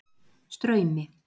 Straumi